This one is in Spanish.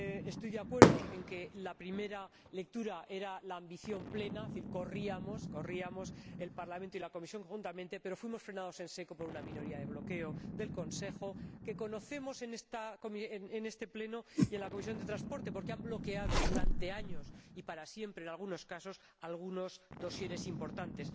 Estoy de acuerdo en que la primera lectura era la ambición plena, es decir, corríamos el Parlamento y la Comisión conjuntamente, pero fuimos frenados en seco por una minoría de bloqueo del Consejo, que conocemos en este Pleno y en la Comisión de Transportes y Turismo, porque han bloqueado durante años, y para siempre en algunos casos, algunos expedientes importantes.